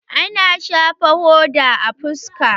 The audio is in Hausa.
Ana shafan hoda a fuska.